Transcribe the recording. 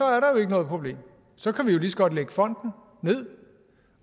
er noget problem så kan vi jo lige så godt lægge fonden ned